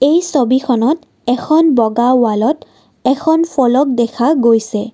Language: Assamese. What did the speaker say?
এই ছবিখনত এখন বগা ৱালত এখন ফলক দেখা গৈছে।